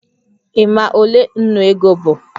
Ị ma ole ńnú ego bụ?